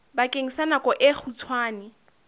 bakeng sa nako e kgutshwane